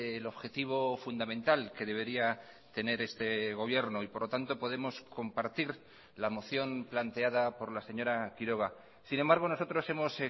el objetivo fundamental que debería tener este gobierno y por lo tanto podemos compartir la moción planteada por la señora quiroga sin embargo nosotros hemos